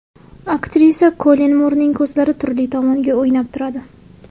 Aktrisa Kollin Murning ko‘zlari turli tomonga o‘ynab turadi.